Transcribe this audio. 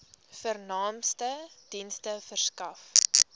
vernaamste dienste verskaf